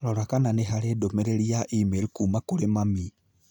Rora kana nĩ harĩ ndũmĩrĩri ya e-mail kuuma kũrĩ mami.